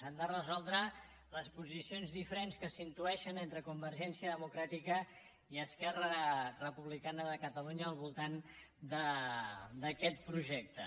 han de resoldre les posicions diferents que s’intueixen entre convergència democràtica i esquerra republicana de catalunya al voltant d’aquest projecte